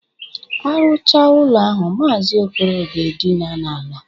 Arụcha ụlọ ahụ, Maazi Okoro ga-edina n'ala.